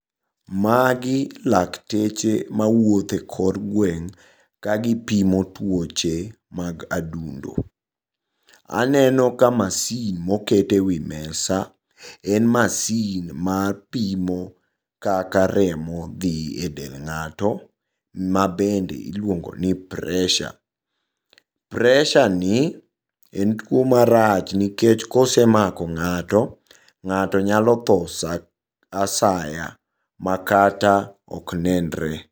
magi laketeche mawuothe kor gweng' ka gipimo tuoche mag adundo aneno ka machine mokete wi mesa en machine mar pimo kaka remo dhi e del ng'ato mabedne iluongo ni pressure ,pressure ni en tuo marach nikech kose mako ng'ato, ng'ato nyalo tho sa asaya makata ok nenre